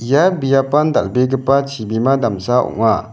ia biapan dal·begipa chibima damsa ong·a.